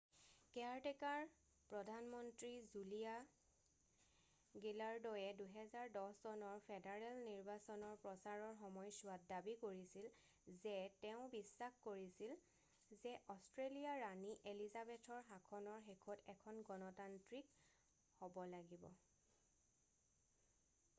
caretaker প্ৰধান মন্ত্ৰী Julia গিলাৰ্দয়ে ২০১০ চনৰ ফেডাৰেল নিৰ্বাচনৰ প্ৰচাৰৰ সময়ছোৱাত দাবী কৰিছিল যে তেওঁ বিশ্বাস কৰিছিল যে অষ্ট্ৰেলীয়া ৰাণী এলিজাবেথৰ শাসনৰ শেষত এখন গণতান্ত্ৰিক হ'ব লাগিব৷